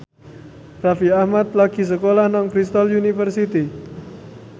Raffi Ahmad lagi sekolah nang Bristol university